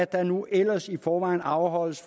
der nu ellers i forvejen afholdes